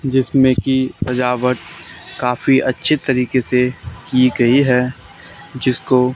जिसमें कि सजावट काफी अच्छी तरीके से की गई है जिसको--